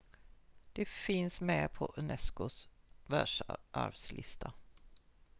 de finns med på unesco:s världsarvslista